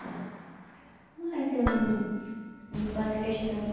Mas eu não não faço questão, não.